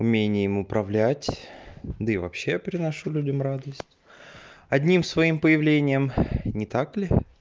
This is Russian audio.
умением управлять да и вообще я приношу людям радость одним своим появлением не так ли